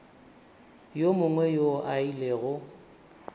yo mongwe yo a ilego